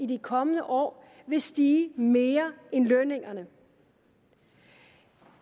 de kommende år vil stige mere end lønningerne